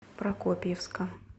прокопьевска